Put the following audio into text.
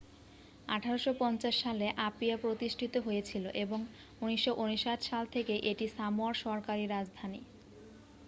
1850 সালে আপিয়া প্রতিষ্ঠিত হয়েছিল এবং 1959 সাল থেকে এটি সামোয়ার সরকারি রাজধানী